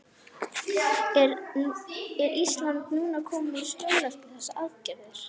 Er Ísland núna komið í skjól eftir þessar aðgerðir?